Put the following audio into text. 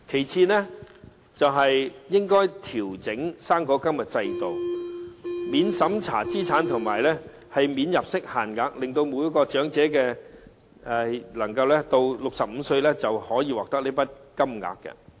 此外，應該調整高齡津貼制度，免審查資產和免入息限額，令每名長者到65歲時便可獲得一筆金額。